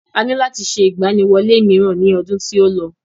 A ní láti ṣe ìgbaniwọlé mìíràn ní ọdún tí ó lọ.